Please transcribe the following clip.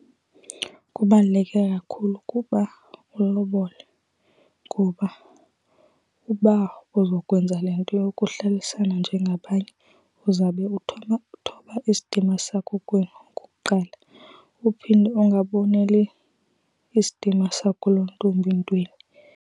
Kubaluleke kakhulu ukuba ulobole. Kuba uba uzokwenza le nto yokuhlalisana njengabanye uzawube uthoba isidima sakokwenu okokuqala, uphinde ungaboneli isidima sakulontombi ntweni.